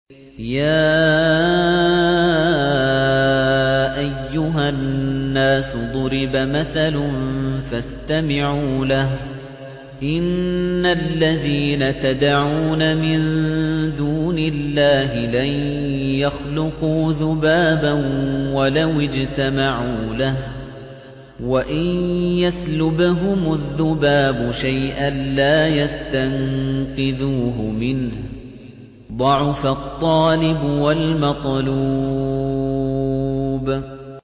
يَا أَيُّهَا النَّاسُ ضُرِبَ مَثَلٌ فَاسْتَمِعُوا لَهُ ۚ إِنَّ الَّذِينَ تَدْعُونَ مِن دُونِ اللَّهِ لَن يَخْلُقُوا ذُبَابًا وَلَوِ اجْتَمَعُوا لَهُ ۖ وَإِن يَسْلُبْهُمُ الذُّبَابُ شَيْئًا لَّا يَسْتَنقِذُوهُ مِنْهُ ۚ ضَعُفَ الطَّالِبُ وَالْمَطْلُوبُ